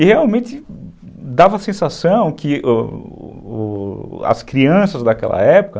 E realmente dava a sensação que as crianças daquela época...